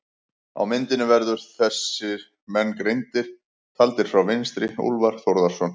Á myndinni verða þessir menn greindir, taldir frá vinstri: Úlfar Þórðarson